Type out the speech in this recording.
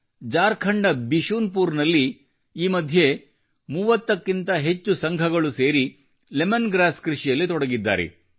ಜಾರ್ಖಂಡ್ ನ ಬಿಶುನ್ ಪುರ್ ನಲ್ಲಿ ಈ ಮಧ್ಯೆ 30 ಕ್ಕಿಂತ ಹೆಚ್ಚು ಸಂಘಗಳು ಸೇರಿ ಲೆಮನ್ ಗ್ರಾಸ್ ಕೃಷಿಯಲ್ಲಿ ತೊಡಗಿದ್ದಾರೆ